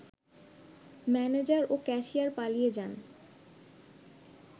manager ও cashier পালিয়ে যান